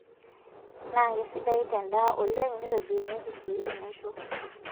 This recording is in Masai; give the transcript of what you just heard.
Naa kesidai tendaa oleng nitobirunyieki sii enaisho